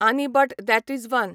आनी but that is one